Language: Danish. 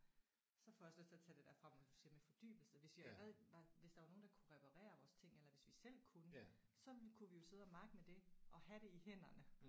Så får jeg også lyst til at tage det der frem med du siger med fordybelse hvis vi havde var hvis der var nogen der kunne reparere vores ting eller hvis vi selv kunne så kunne vi jo sidde makke med det og have det i hænderne